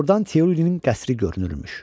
Ordan Tirolinin qəsri görünürmüş.